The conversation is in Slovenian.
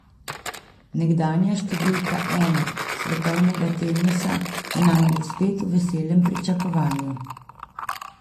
Nekdanja številka ena svetovnega tenisa je namreč spet v veselem pričakovanju.